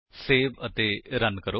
save ਅਤੇ run ਕਰੋ